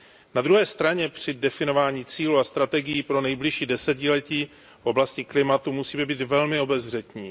Na druhé straně při definování cílů a strategií pro nejbližší desetiletí v oblasti klimatu musíme být velmi obezřetní.